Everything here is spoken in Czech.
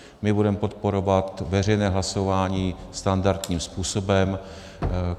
My budeme podporovat veřejné hlasování standardním způsobem.